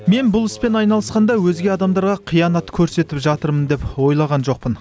мен бұл іспен айналысқанда өзге адамдарға қиянат көрсетіп жатырмын деп ойлаған жоқпын